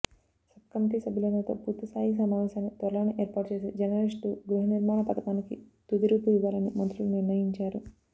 subcommittee సభ్యులందరితో పూర్తిస్థాయి సమావేశాన్ని త్వరలోనే ఏర్పాటుచేసి జర్నలిస్టు గృహనిర్మాణ పథకానికి తుదిరూపు ఇవ్వాలని మంత్రులు నిర్ణయించారు